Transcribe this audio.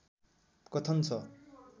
कथन छ